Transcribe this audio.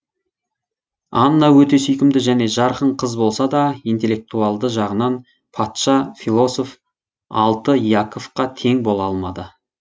анна өте сүйкімді және жарқын қыз болса да интеллектуалді жағынан патша философ яковқа тең бола алмады